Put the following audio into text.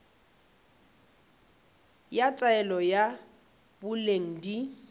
ya taolo ya boleng di